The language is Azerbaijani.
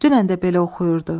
Dünən də belə oxuyurdu.